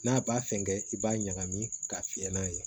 N'a b'a fɛnkɛ i b'a ɲagami ka fiyɛ n'a ye